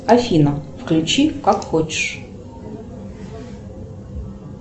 афина включи как хочешь